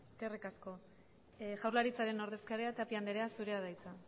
eskerrik asko jaurlaritzaren ordezkaria tapia anderea zurea da hitza